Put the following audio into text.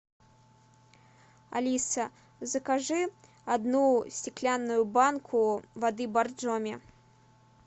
алиса закажи одну стеклянную банку воды боржоми